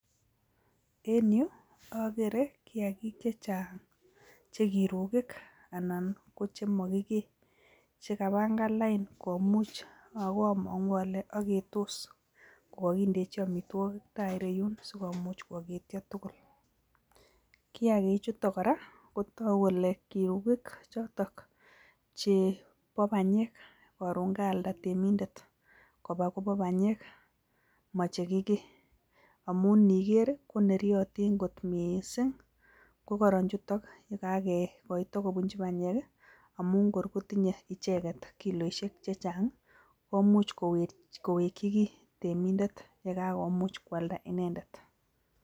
En yu akere kiagik che chang che kirukik anan ko chemokikee, che kapangan lain komuch ako amangu ale aketos, ko kakindechi amitwogik tai ireyun sikomuch kwaketio tugul, kiagichuto kora kotoku kole kirukik chotok chebo panyek, karon kaalda temindet koba kobo panyek ma che kikee, amun niker ii, ko neryotin kot mising, ko koron chutok ye kakekoito kobunchi panyek ii, amun kor kotinye icheket kiloisiek che chang ii, komuch kowekchi kiy temindet ye kakomuch kwalda inendet.